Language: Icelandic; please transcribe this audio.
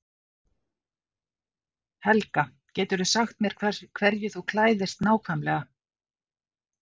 Helga: Getur þú sagt mér hverju þú klæðist nákvæmlega?